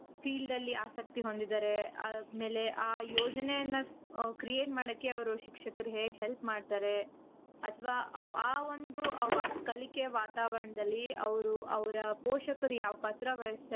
field ಅಲ್ಲಿ ಆಸಕ್ತಿ ಹೊಂದಿದಾರೆ. ಆಮೇಲೆ ಆ ಯೋಜನೆನ create ಮಾಡೋಕೆ ಅವರು ಶಿಕ್ಷಕರು ಹೇಗೆ help ಮಾಡ್ತಾರೆ ಅತವ ಆ ಒಂದು ಕಲಿಕೆ ವಾತಾವರಣದಲ್ಲಿ ಅವರು ಅವರ ಪೋಷಕರು ಯಾವ್ ಪಾತ್ರ,